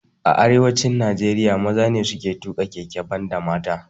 A arewacin Najeriya maza ne suke tuƙa keke banda mata